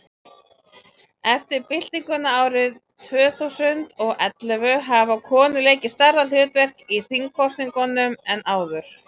eftir byltinguna árið tvö þúsund og og ellefu hafa konur leikið stærra hlutverk í þingkosningum en áður